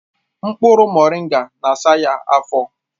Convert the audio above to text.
Mkpụrụ moringa na-asa ya afọ